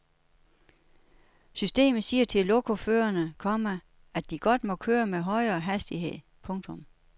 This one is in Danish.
Systemet siger til lokoførerne, komma at de godt må køre med højere hastighed. punktum